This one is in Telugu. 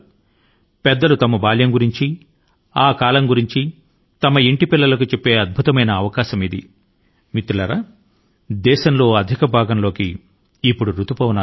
వారి యొక్క పసితనం గురించి వారి యొక్క కాలం గురించి ఇంట్లో పిల్లల కు వివరించడానికి పెద్దల కు ఇది ఒక అద్భుత అవకాశం